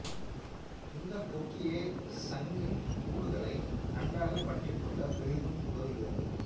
இந்தக் கொக்கியே சங்கின் கூடுகளை நன்றாக பற்றிக் கொள்ள பெரிதும் உதவுகிறது